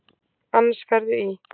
Annars ferðu í.